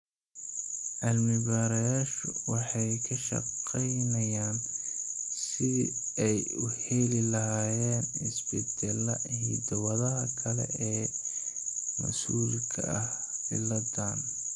Cilmi-baarayaashu waxay ka shaqeynayaan sidii ay u heli lahaayeen isbeddellada hiddo-wadaha kale ee mas'uulka ka ah cilladaan.